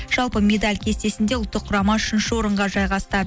жалпы медаль кестесінде ұлттық құрама үшінші орынға жайғасты